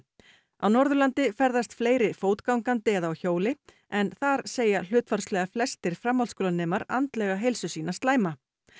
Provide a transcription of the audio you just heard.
á Norðurlandi ferðast fleiri fótgangandi eða á hjóli en þar segja hlutfallslega flestir framhaldsskólanemar andlega heilsu sína slæma